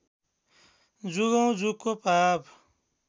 जुगौँ जुगको पाप